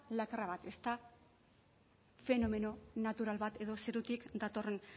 lakra bat ez da fenomeno natural bat edo zerotik datorren